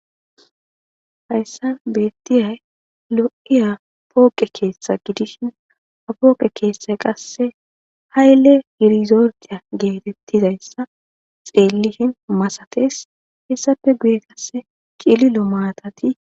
hayssan beettiyay lo7iya pooqe keeshtha gidishin a pooqe keesse qasse hayle yirizordiya geetettizayssa xeellishin masates hessafe guyetasse qililo maatas